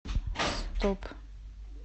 стоп